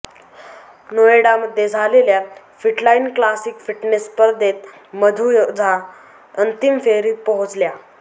नोएडामध्ये झालेल्या Fitline classic fitness स्पर्धेत मधू झा अंतिम फेरीत पोहोचल्या